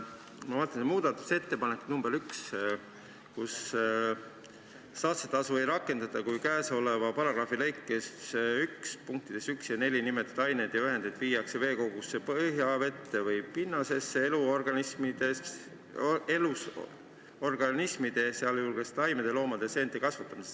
Ma vaatasin muudatusettepanekut nr 1: saastetasu ei rakendata, kui käesoleva paragrahvi lõike 1 punktides 1–4 nimetatud aineid ja ühendeid viiakse veekogusse, põhjavette või pinnasesse elusorganismide, sh taimede, loomade ja seente kasvatamiseks.